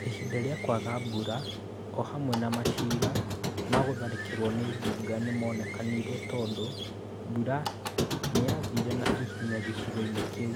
Ĩhĩnda rĩa kũaga mbura o hamwe na macira ma gũtharĩkĩrwo nĩ ngũnga nĩ monekanire tondũ mbura nĩ yathirire na ihenya gĩcigo-inĩ kĩu.